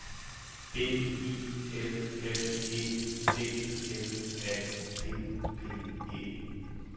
B I L L E D M A P P E